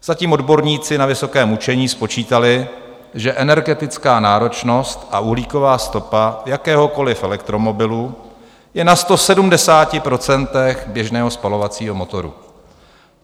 Zatím odborníci na vysokém učení spočítali, že energetická náročnost a uhlíková stopa jakéhokoli elektromobilu je na 170 % běžného spalovacího motoru.